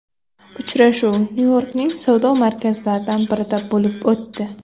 Uchrashuv Nyu-Yorkning savdo markazlaridan birida bo‘lib o‘tdi.